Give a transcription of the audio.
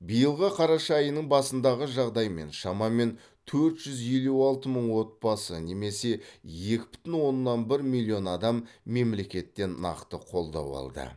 биылғы қараша айының басындағы жағдаймен шамамен төрт жүз елу алты мың отбасы немесе екі бүтін оннан бір миллион адам мемлекеттен нақты қолдау алды